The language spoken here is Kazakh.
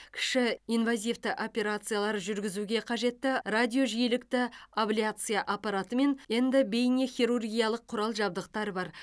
кіші инвазивті операциялар жүргізуге қажетті радиожиілікті абляция аппараты мен эндобейнехирургиялық құрал жабдықтар бар